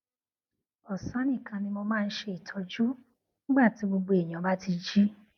ọsán nìkan ni mo máa ń ṣe ìtọjú nígbà tí gbogbo ènìyàn bá ti jí